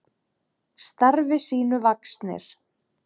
Starfi sínu vaxnir.